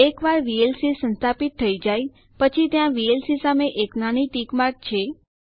એકવાર વીએલસી સંસ્થાપિત થઇ જાય પછી ત્યાં વીએલસી સામે એક નાની ટિક માર્ક છે